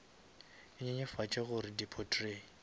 e nyenyefatše gore di potrait